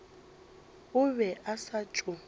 o be a sa tšo